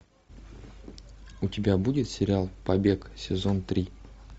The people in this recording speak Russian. у тебя будет сериал побег сезон три